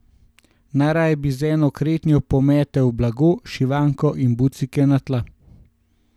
Najraje bi z eno kretnjo pometel blago, šivanko in bucike na tla.